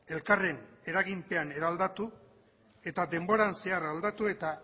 elkarren eraginpean eraldatu eta denboran zehar aldatu eta